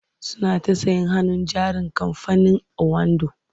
Suna ta sayen hannun jarin kamfanin owando.